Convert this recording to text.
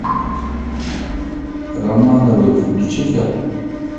романовы включи ка